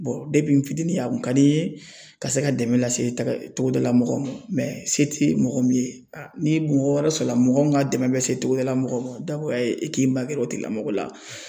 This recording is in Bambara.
n fitinin a kun ka di n ye ka se ka dɛmɛ lase togodala mɔgɔ ma se ti mɔgɔ min ye ni mɔgɔ wɛrɛ sɔrɔ la mɔgɔ min ka dɛmɛ bɛ se togodala mɔgɔ ma jagoya e k'i magɛrɛ o tigilamɔgɔ la.